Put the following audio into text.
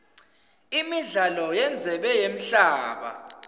imidlalo yendzebe yemhlaba